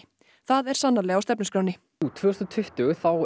það er sannarlega á stefnuskránni tvö þúsund og tuttugu þá